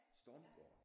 Stormgården